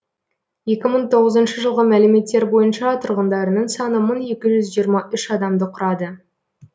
екі мың тоғызыншы жылғы мәліметтер бойынша тұрғындарының саны мың екі жүз жиырма үш адамды құрады